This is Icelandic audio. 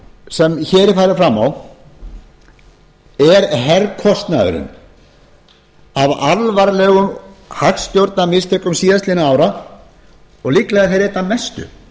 sem hér er farin fram á er herkostnaðurinn af alvarlegum hagstjórnarmistökum síðastliðinna ára og líklega þeirri einna mestu